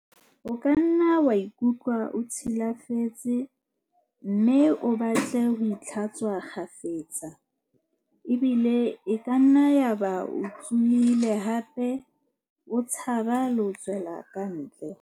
O kanna wa ikutlwa o tshi lafetse mme o batle ho itlha-tswa kgafetsa, ebile e kanna ya ba o tshohile hape o tshaba le ho tswela kantle.